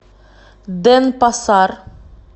денпасар